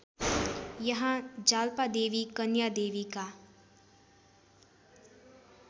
यहाँ जाल्पादेवी कन्यादेवीका